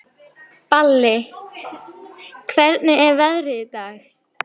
Balli, hvernig er veðrið í dag?